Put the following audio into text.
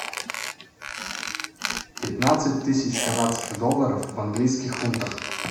пятнадцать тысяч канадских долларов в английских фунтах